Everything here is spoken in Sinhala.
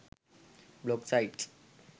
blog sites